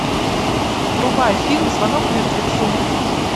врубай фильм звонок мертвецу